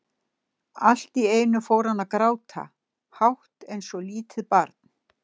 Allt í einu fór hann að gráta, hátt eins og lítið barn.